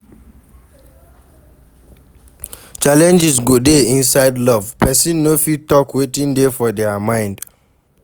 Challenges go dey inside love, persin no fit talk wetin dey for their mind